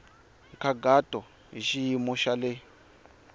nkhaqato hi xiyimo xa le